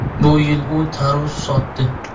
Bu yil u tarvuz sotdi.